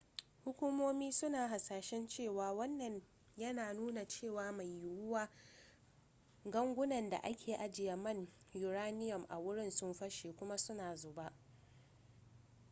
hukumomi suna hasashen cewa wannan yana nuna cewa mai yiwuwa gangunan da a ke ajiye man uranium a wurin sun fashe kuma suna zuba